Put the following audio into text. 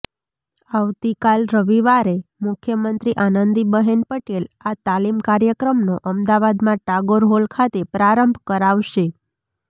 આવતીકાલ રવિવારે મુખ્યમંત્રી આનંદીબહેન પટેલ આ તાલીમ કાર્યક્રમનો અમદાવાદમાં ટાગોર હોલ ખાતે પ્રારંભ કરાવશે